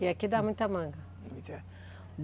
E aqui dá muita manga?